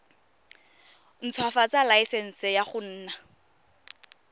ntshwafatsa laesense ya go nna